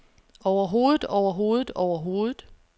overhovedet overhovedet overhovedet